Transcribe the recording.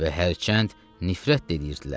Və hərçənd nifrət də edirdilər.